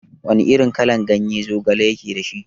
Wana irin kalan ganye zogale yake dashi?